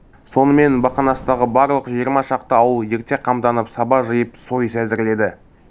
сонымен бақанастағы барлық жиырма шақты ауыл ерте қамданып саба жиып сойыс әзірледі